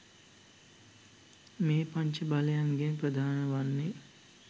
මේ පංච බලයන්ගෙන් ප්‍රධාන වන්නේ